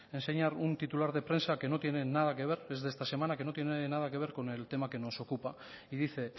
enseñar un titular de prensa que no tiene nada que ver es de esta semana con el tema que nos ocupa y dice